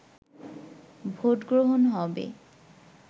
ভোটগ্রহণ হবে